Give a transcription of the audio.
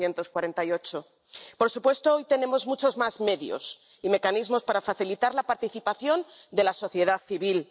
1948. Por supuesto, hoy tenemos muchos más medios y mecanismos para facilitar la participación de la sociedad civil.